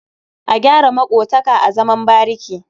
A gyara maƙotaka a zaman bariki.